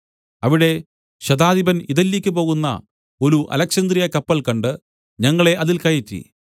അവിടെ ശതാധിപൻ ഇതല്യയ്ക്ക് പോകുന്ന ഒരു അലെക്സന്ത്രിയക്കപ്പൽ കണ്ട് ഞങ്ങളെ അതിൽ കയറ്റി